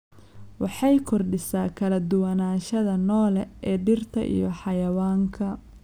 Waxay kordhisaa kala duwanaanshaha noole ee dhirta iyo xayawaanka.